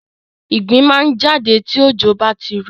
Ìgbín máa ń jáde tí òjò bá ti rọ̀.